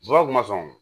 kuma sɔn